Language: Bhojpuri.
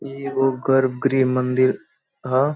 इ एगो गर्व गृह मंदिर ह --